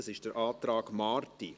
Dies ist der Antrag Marti.